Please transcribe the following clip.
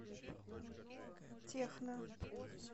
техно